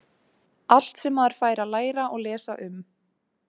Allt sem maður fær að læra og lesa um.